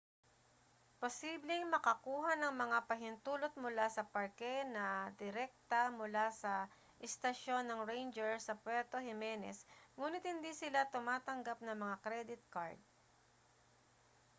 posibleng makakuha ng mga pahintulot mula sa parke na direkta mula sa istasyon ng ranger sa puerto jimenez nguni't hindi sila tumatanggap ng mga kredit kard